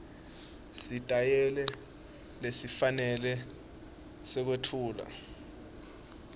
sitayela lesifanele sekwetfula